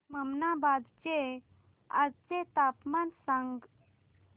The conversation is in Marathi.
ममनाबाद चे आजचे तापमान सांग